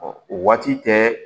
o waati tɛ